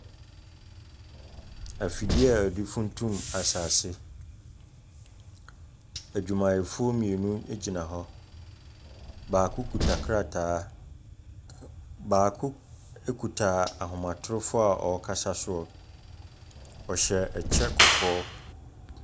Afidie a yɛde funtum asaase, adwumayɛfoɔ mmienu gyina hɔ. baako kita krataa, baako kita ahomatrofoɔ a ɔrekasa soɔ. Ɔhyɛ kyɛ kɔkɔɔ.